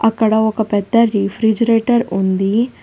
అక్కడ ఒక పెద్ద రిఫ్రిజిరైటర్ ఉంది.